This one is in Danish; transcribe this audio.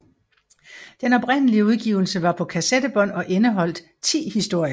Den oprindelige udgivelse var på kassettebånd og indeholdt ti historier